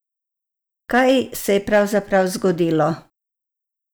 Kaj se je pravzaprav zgodilo?